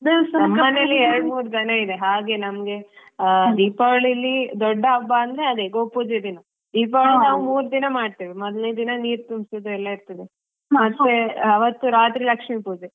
ಎರಡ್ ಮೂರ್ ದನ ಇದೆ ಹಾಗೆ ನಮ್ಗೆ ದೀಪಾವಳಿಲಿ ದೊಡ್ಡ ಹಬ್ಬ ಅಂದ್ರೆ ಅದೇ ಗೋಪೂಜೆ ದಿನ ಈವಾಗ ಮೂರ್ದಿನ ಮಾಡತೇವೆ ಮೊದ್ಲೇ ದಿನ ನೀರ್ತುಂಬಿಸಿರೋದೆಲ್ಲ ಇದೆಲ್ಲಾ ಇರ್ತದೆ ಮತ್ತೇ ಅವತ್ತು ರಾತ್ರಿ ಲಕ್ಷೀಪೂಜೆ .